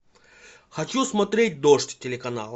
хочу смотреть дождь телеканал